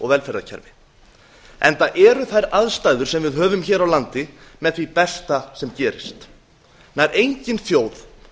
velferðarkerfi enda eru þær aðstæður sem vi höfum hér á landi með því besta sem gerist nær engin þjóð